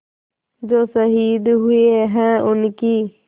जो शहीद हुए हैं उनकी